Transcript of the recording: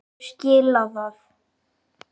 Hverju skilaði það?